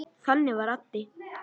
Þannig var Addi.